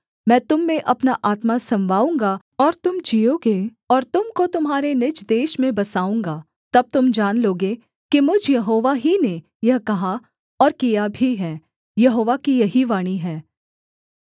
मैं तुम में अपना आत्मा समवाऊँगा और तुम जीओगे और तुम को तुम्हारे निज देश में बसाऊँगा तब तुम जान लोगे कि मुझ यहोवा ही ने यह कहा और किया भी है यहोवा की यही वाणी है